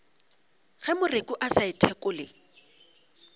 ge moreku a sa ithekole